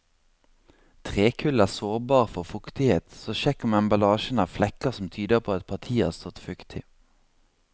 Trekull er sårbar for fuktighet, så sjekk om emballasjen har flekker som tyder på at partiet har stått fuktig.